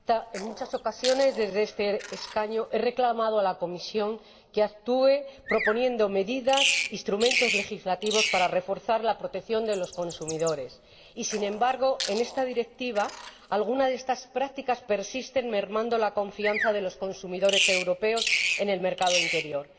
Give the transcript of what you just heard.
Señora Presidenta, en muchas ocasiones, desde este escaño he reclamado a la Comisión que actúe proponiendo medidas e instrumentos legislativos para reforzar la protección de los consumidores, y, sin embargo, pese a esta Directiva, alguna de estas prácticas persiste mermando la confianza de los consumidores europeos en el mercado interior.